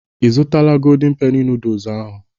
Ị zụtala Goldin Peni nooduls ahụ?